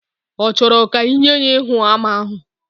Ochoro ka inye ya Íhúamá ahu?